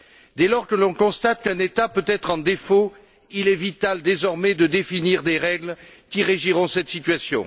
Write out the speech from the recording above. Dès lors que l'on constate qu'un État peut être en défaut, il est vital, désormais, de définir des règles qui régiront cette situation.